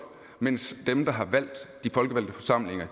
mens dem der har valgt de folkevalgte forsamlinger